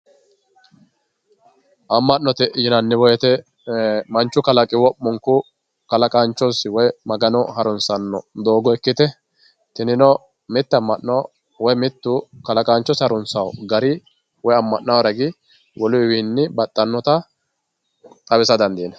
Amma'note yinanni woyite manchu kalaqi wo'munku kalaqaanchosi woyi magano harunsanno doogo ikkite tinino mitte amma'no woyi mittu kalaqaanchosi harunsawo gari amma'nawo ragi woluyiwii baxxannota xawisa dandiinayi.